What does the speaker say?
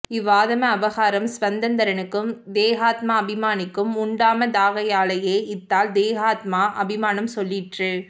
இவ்வாதம அபஹாரம் ஸ்வ தந்த்ரனுக்கும் தேஹாத்மா அபிமாநிக்கும் உண்டாமதாகையாலே இத்தால் தேஹாத்மா அபிமானம் சொல்லிற்று